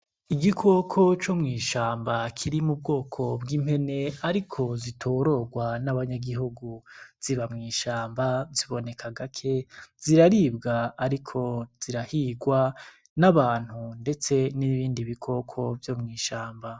Igikoko co mw'ishamba kiri mu bwoko bw'impene, ariko zitororwa n'abanyagihugu ziba mwishamba ziboneka agake ziraribwa, ariko zirahirwa n'abantu, ndetse n'ibindi bikoko vyo mwishamba.